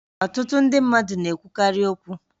Ọtụtụ ndị mmadụ na-ekwukarị okwu